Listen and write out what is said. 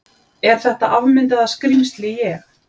Er þetta afmyndaða skrímsli ég?